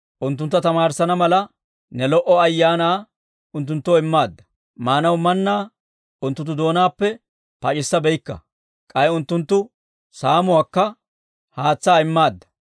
Unttuntta tamaarissana mala, ne lo"o Ayaanaa unttunttoo immaadda. Maanaw mannaa unttunttu doonaappe pac'issabeykka; k'ay unttunttu saamookka haatsaa immaadda.